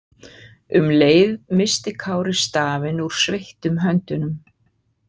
Um leið missti Kári stafinn úr sveittum höndunum.